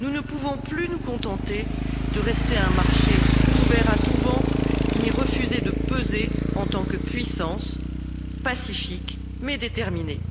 nous ne pouvons plus nous contenter de rester un marché ouvert à tous vents, ni refuser de peser en tant que puissance pacifique mais déterminée.